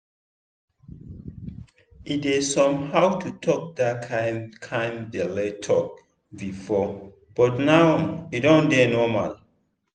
e dey somehow to talk that kind kind belle talk before but now e don dey normal.